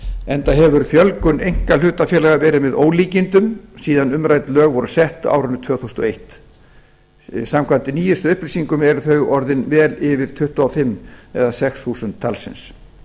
enda hefur fjölgun einkahlutafélaga verið með ólíkindum síðan umrædd lög voru sett á árinu tvö þúsund og einn samkvæmt nýjustu upplýsingum eru þau orðin vel yfir tuttugu og sex eða tuttugu og sex þúsund talsins